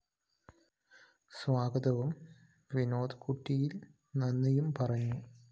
സ്വാഗതവും വിനോദ് കുറ്റിയില്‍ നന്ദിയും പറഞ്ഞു